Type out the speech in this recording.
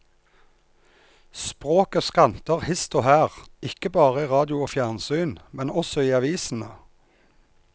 Språket skranter hist og her, ikke bare i radio og fjernsyn, men også i avisene.